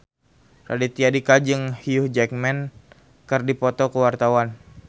Raditya Dika jeung Hugh Jackman keur dipoto ku wartawan